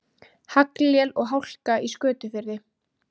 Haglél og hálka í Skötufirði